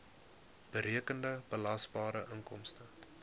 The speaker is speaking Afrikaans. berekende belasbare inkomste